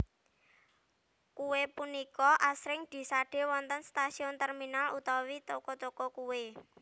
Kuwe punika asring disade wonten stasiun terminal utawi toko toko kuwe